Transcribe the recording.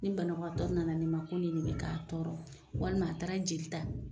Ni banabagatɔ nana ne ma ko nin ne bɛ k'a tɔɔrɔ walima a taara jeli ta